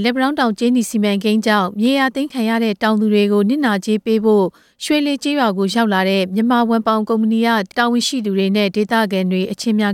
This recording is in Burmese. လက်ပံတောင်းတောင် ကြေးနီစီမံကိန်းအတွက် မြေယာသိမ်းခံရတဲ့တောင်သူတွေကို နစ်နာကြေးပေးဖို့ မနေ့က ရွှေလှေကျေးရွာကို သွားရောက်ခဲ့တဲ့ တရုတ်နိုင်ငံသားတွေ နဲ့ မြန်မာဝန်ထမ်းတွေပါဝင်တဲ့ ကုမ္ပဏီတာဝန်ရှိသူ ဒေသခံတွေနဲ့ အချင်းများ